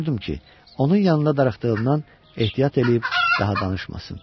Qorxurdum ki, onun yanında darıxdığımdan ehtiyat eləyib daha danışmasın.